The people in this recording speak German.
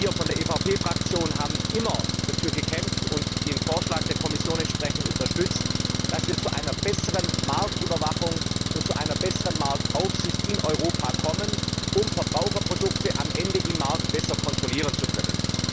Auch wir von der EVP Fraktion haben immer dafür gekämpft und den Vorschlag der Kommission entsprechend unterstützt, dass wir zu einer besseren Marktüberwachung und zu einer besseren Marktaufsicht in Europa kommen, um Verbraucherprodukte am Ende auf dem Markt besser kontrollieren zu können.